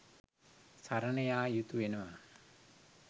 සරණ යා යුතු වෙනවා.